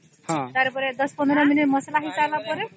ତାର ପରେ ୧୦୧୫ ମିନିଟ ମସଲା ହେଇ ସରିଲା ପରେ